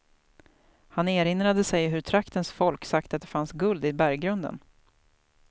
Han erinrade sig hur traktens folk sagt att det fanns guld i berggrunden.